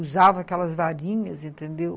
Usava aquelas varinhas, entendeu?